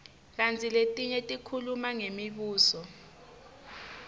kantsi letinye tikhuluma ngemibuso